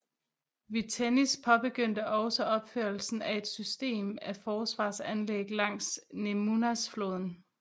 Vytenis påbengyndte også opførelsen af et system af forsvarsanlæg langs Nemunas floden